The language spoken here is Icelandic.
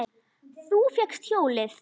Þú fékkst hjólið!